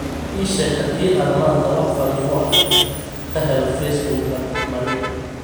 ii sheeg haddii aan maanta wax fariimo ah ka helo facebook-ga maria